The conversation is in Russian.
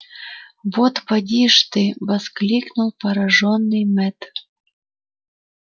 вот поди ж ты воскликнул поражённый мэтт